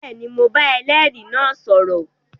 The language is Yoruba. Bẹẹni, Mó bà ẹlẹri náà sọrọ